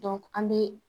an bɛ